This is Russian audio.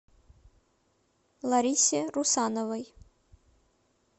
ларисе русановой